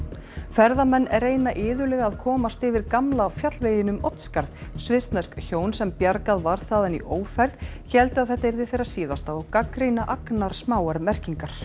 ferðamenn reyna iðulega að komast yfir gamla fjallveginn um Oddsskarð svissnesk hjón sem bjargað var þaðan í ófærð héldu að þetta yrði þeirra síðasta og gagnrýna agnarsmáar merkingar